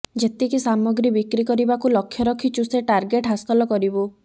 ଯେତିକି ସାମଗ୍ରୀ ବିକ୍ରି କରିବାକୁ ଲକ୍ଷ୍ୟ ରଖିଛୁ ସେ ଟାେର୍ଗଟ୍ ହାସଲ କରିବୁ